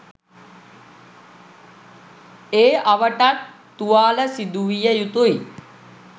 ඒ අවටත් තුවාල සිදුවිය යුතුයි.